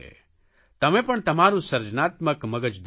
તમે પણ તમારૂં સર્જનાત્મક મગજ દોડાવો